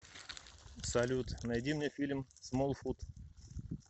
салют найди мне фильм смолфут